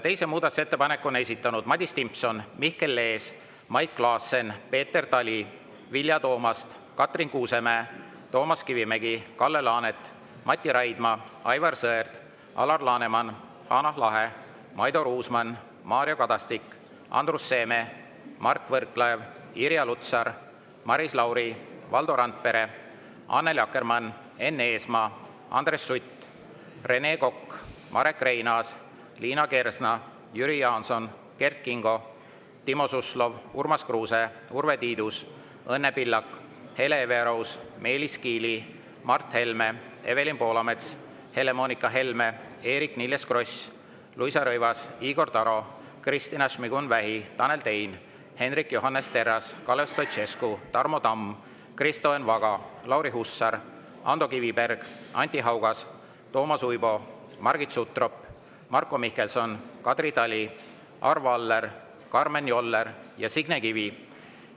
Teise muudatusettepaneku on esitanud Madis Timpson, Mihkel Lees, Mait Klaassen, Peeter Tali, Vilja Toomast, Katrin Kuusemäe, Toomas Kivimägi, Kalle Laanet, Mati Raidma, Aivar Sõerd, Alar Laneman, Hanah Lahe, Maido Ruusmann, Mario Kadastik, Andrus Seeme, Mart Võrklaev, Irja Lutsar, Maris Lauri, Valdo Randpere, Annely Akkermann, Enn Eesmaa, Andres Sutt, Rene Kokk, Marek Reinaas, Liina Kersna, Jüri Jaanson, Kert Kingo, Timo Suslov, Urmas Kruuse, Urve Tiidus, Õnne Pillak, Hele Everaus, Meelis Kiili, Mart Helme, Evelin Poolamets, Helle-Moonika Helme, Eerik-Niiles Kross, Luisa Rõivas, Igor Taro, Kristina Šmigun-Vähi, Tanel Tein, Hendrik Johannes Terras, Kalev Stoicescu, Tarmo Tamm, Kristo Enn Vaga, Lauri Hussar, Ando Kiviberg, Anti Haugas, Toomas Uibo, Margit Sutrop, Marko Mihkelson, Kadri Tali, Arvo Aller, Karmen Joller ja Signe Kivi.